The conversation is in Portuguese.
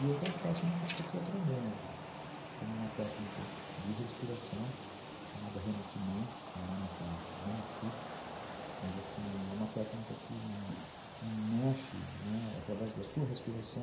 E outras técnicas que eu fui aprendendo, como uma técnica de respiração chamada renascimento, que é um nome que eu não curto, mas assim, é uma técnica que que mexe através da sua respiração